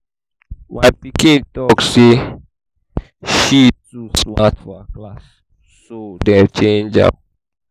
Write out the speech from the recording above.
my pikin teacher tell me say she too smart for her class so dey change am